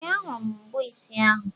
Ee, a hụrụ m mbọ isi ahụ.